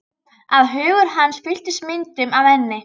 Að hugur hans fylltist myndum af henni.